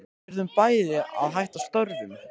Við urðum bæði að hætta störfum.